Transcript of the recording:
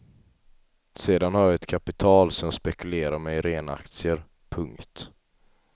Sedan har jag ett kapital som jag spekulerar med i rena aktier. punkt